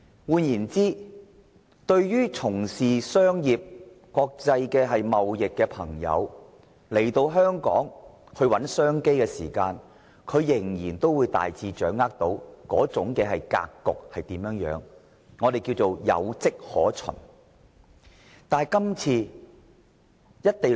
換言之，當從商和國際貿易朋友來港尋找商機時，他們仍可大致掌握香港的格局，我們稱之為"有跡可循"。